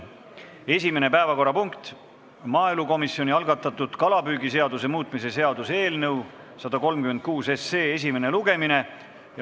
Esimene päevakorrapunkt on maaelukomisjoni algatatud kalapüügiseaduse muutmise seaduse eelnõu 136 esimene lugemine.